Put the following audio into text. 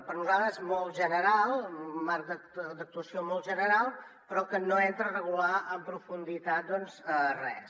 per nosaltres és molt general un marc d’actuació molt general però que no entra a regular en profunditat doncs res